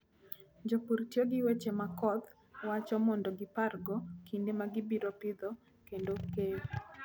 Jopur tiyo gi weche ma koth wacho mondo gipargo kinde ma gibiro pidho kod keyo.